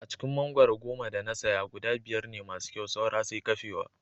A cikin mangwaro goma da na saya guda biyar ne masu kyau saura sai kafewa